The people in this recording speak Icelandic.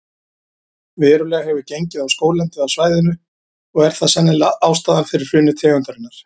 Verulega hefur gengið á skóglendið á svæðinu og er það sennilega ástæðan fyrir hruni tegundarinnar.